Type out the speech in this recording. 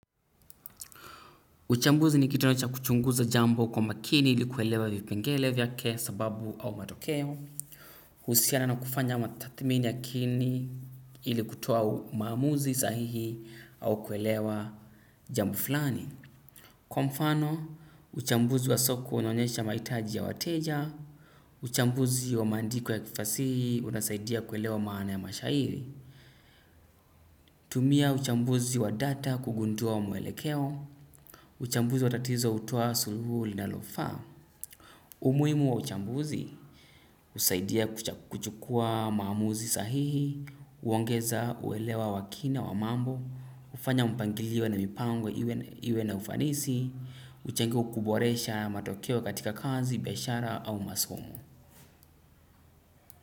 Uchambuzi ni kitendo cha kuchunguza jambo kwa makini ili kuelewa vipengele vyake sababu au matokeo. Husiana na kufanya matathmini ya kiini ili kutoa maamuzi sahihi au kuelewa jambo fulani. Kwa mfano uchambuzi wa soko unaonyesha mahitaji ya wateja. Uchambuzi wa maandiko ya kifasihi unasaidia kuelewa maana ya mashairi. Tumia uchambuzi wa data kugundua wa mwelekeo. Uchambuzi wa tatizo hutoa suluhu linalofaa. Umuhimu wa uchambuzi husaidia kuchukua maamuzi sahihi, huongeza uelewa wa kina wa mambo, hufanya mpangilio na mipango iwe na ufanisi, huchangia kuboresha matokeo katika kazi, biashara au masomo.